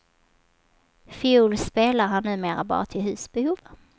Fiol spelar han numera bara till husbehov.